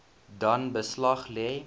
dan beslag lê